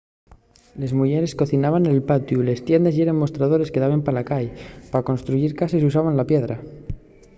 les muyeres cocinaben nel patiu les tiendes yeren mostradores que daben pa la cai pa construyir cases usábase la piedra